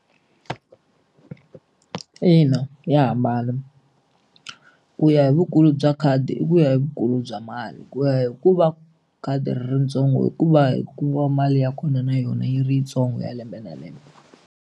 Ina ya hambana ku ya hi vukulu bya khadi i ku ya hi vukulu bya mali ku ya hi ku va khadi ri ri ritsongo i ku va hi ku va mali ya kona na yona yi ri yitsongo ya lembe na lembe.